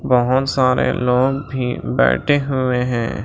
बहुत सारे लोग भी बैठे हुए हैं।